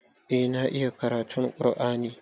Eh na iya karatun ƙur'ani.